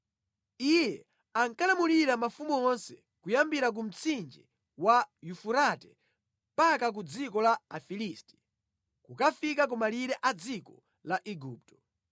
Iye ankalamulira mafumu onse kuyambira ku mtsinje wa Yufurate mpaka ku dziko la Afilisti, kukafika ku malire a dziko la Igupto.